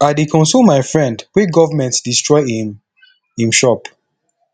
i dey console my friend wey government destroy im im shop